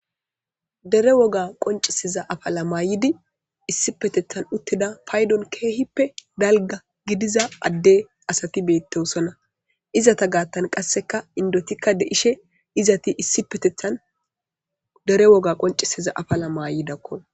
Dere woga qonc'isiza Mayo mayidi issipetethan utida patdon dalga gidiza adde asati beetosona izeta gathan qasseka mac'atika de'ishe issipetethan dere woga qonc'isiza Mayo maayida.